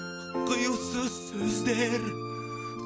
құйылсыз сөздер